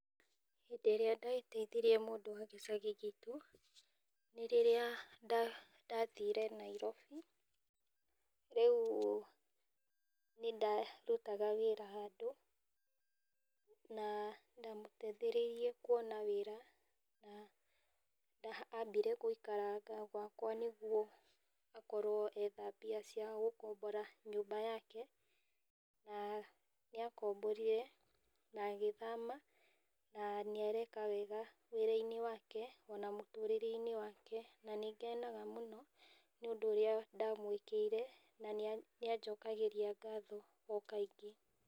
Hĩndĩ ĩrĩa ndateithirie mũndũ wa gĩcagi gitũ, nĩ rĩrĩa ndathire Nairobi. Rĩu nĩndarutaga wĩra handũ na ndamũteithĩrĩirie kwona wĩra na ambire gũikaranga gwakwa nĩguo akorwo etha mbia cia gũkombora nyũmba yake na nĩakomborire na agĩthama na nĩareka wega wĩra-inĩ wake, ona mũtũrĩre-inĩ wake. Na nĩ ngenaga mũno nĩ ũndũ ũrĩa ndamwĩkĩire, na nĩ anjokagĩria ngatho o kaingĩ.